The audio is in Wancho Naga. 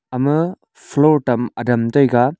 ama floor tam adam taiga.